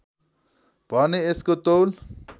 भने यसको तौल